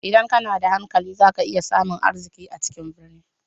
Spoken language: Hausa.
Idan kana da hankali za ka iya samun arziki a cikin birni.